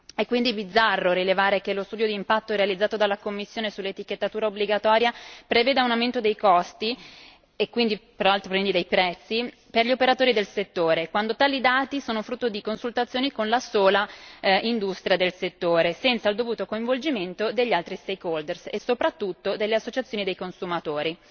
È quindi bizzarro rilevare che lo studio d'impatto realizzato dalla Commissione sull'etichettatura obbligatoria prevede un aumento dei costi, e quindi dei prezzi, per gli operatori del settore, quando tali dati sono frutto di consultazioni con la sola industria del settore senza il dovuto coinvolgimento degli altri stakeholder e soprattutto delle associazioni dei consumatori.